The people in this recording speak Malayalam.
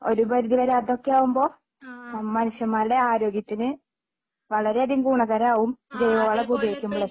ഒരുപരിധിവരെ അതൊക്കെ ആകുമ്പോ മനുഷ്യന്മാരുടെ ആരോഗ്യത്തിന് വളരെയധികം ഗുണകരമാകും ജൈവവളം ഒക്കെ ഉപയോഗിക്കുമ്പോഴേ